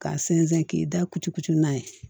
K'a sɛnsɛn k'i da kucukutu n'a ye